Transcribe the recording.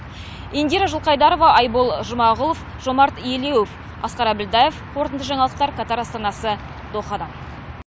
индира жылқайдарова айбол жұмағұлов жомарт елеуов асқар әбілдаев қорытынды жаңалықтар катар астанасы дохадан